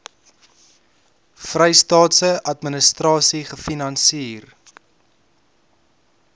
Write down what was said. vrystaatse administrasie gefinansier